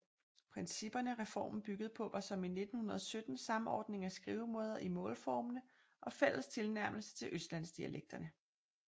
Principperne reformen byggede på var som i 1917 samordning af skrivemåder i målformene og fælles tilnærmelse til østlandsdialektene